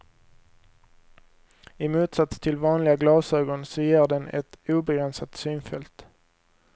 I motsats till vanliga glasögon så ger den ett obegränsat synfält.